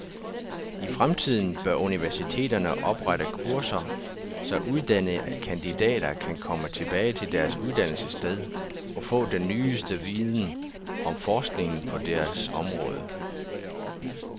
I fremtiden bør universiteterne oprette kurser, så uddannede kandidater kan komme tilbage til deres uddannelsessted og få den nyeste viden om forskningen på deres område.